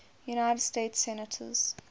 united states senators